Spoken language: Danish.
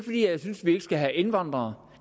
jeg synes vi ikke skal have indvandrere